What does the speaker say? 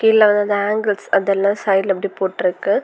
இதல வந்து ஆங்கிள்ஸ் அதெல்லாம் சைட்ல அப்டியே போட்ருக்கு.